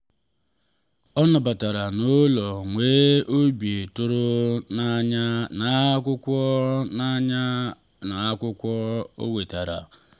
ọ nabatara ya n’ụlọ nwee obi tụrụ n’anya n’akwụkwọ o n’anya n’akwụkwọ o wetara.